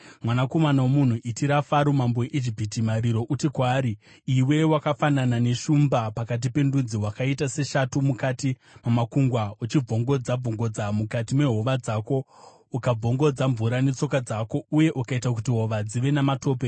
“Mwanakomana womunhu, chemera Faro mambo weIjipiti uti kwaari: “ ‘Iwe wakafanana neshumba pakati pendudzi; wakaita sechikara mukati mamakungwa uchibvongodza-bvongodza mukati mehova dzako, uchibvongodza mvura netsoka dzako uye uchiita kuti hova dzive namatope.